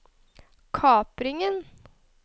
kapringen